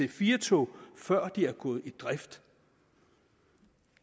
ic4 tog før de er gået i drift